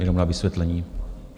Jenom na vysvětlení.